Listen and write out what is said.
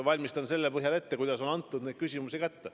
Valmistan vastuse ette selle põhjal, kuidas küsimus on esitatud.